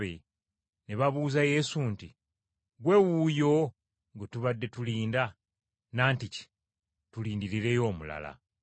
Ne babuuza Yesu nti, “Ggwe wuuyo gwe tubadde tulindirira, nantiki tulindirireyo omulala?”